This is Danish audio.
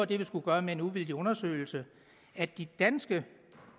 det vi skulle gøre med en uvildig undersøgelse at de danske